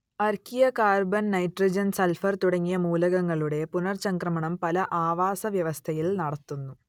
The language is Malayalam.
അർക്കിയ കാർബൺ നൈട്രജൻ സൾഫർ തുടങ്ങിയ മൂലകങ്ങളുടെ പുനർചംക്രമണം പല ആവാസവ്യവസ്ഥയിൽ നടത്തുന്നു